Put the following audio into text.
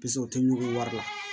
Piseke o tɛ ɲugu wari la